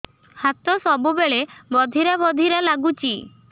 ହାତ ସବୁବେଳେ ବଧିରା ବଧିରା ଲାଗୁଚି